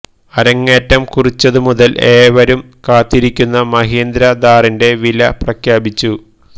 അരങ്ങേറ്റം കുറിച്ചതു മുതൽ ഏവരും കാത്തിരിക്കുന്ന മഹീന്ദ്ര ഥാറിന്റെ വില പ്രഖ്യാപിച്ചു